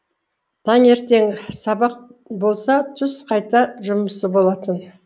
таңертең сабақ болса түс қайта жұмысы болатын